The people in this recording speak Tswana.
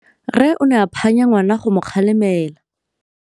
Rre o ne a phanya ngwana go mo galemela.